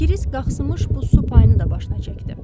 Kirisk qaxşımış bu su payını da başına çəkdi.